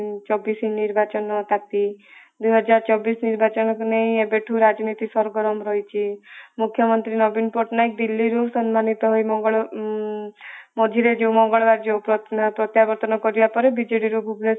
ଚବିଶ ନିର୍ବାଚନ ପାର୍ଟି ଦୁଇ ହଜାର ଚବିଶ ନିର୍ବାଚନକୁ ନେଇ ଏବେଠୁ ରାଜନୀତି ସର୍ଗର୍ମ ରହିଛି । ମୁଖ୍ୟମନ୍ତ୍ରୀ ନବୀନ ପଟ୍ଟନାୟକ ଦିଲ୍ଲୀ ରୁ ସମ୍ମାନିତ ହୋଇ ମଙ୍ଗଳ ଉଁ ମଝିରେ ଯୋଉ ମଙ୍ଗଳବାର ଯୋଉ ପ୍ରତ୍ୟାବର୍ତନ କରିବା ପରେ ବିଜେଡି ର ଭୁବନେଶ୍ୱର